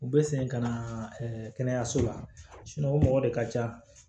U bɛ segin ka na kɛnɛyaso la o mɔgɔ de ka ca